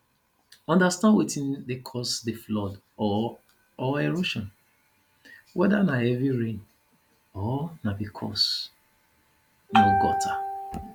understand wetin dey cause di flood or or erosion weda na heavy rain or na because no gutter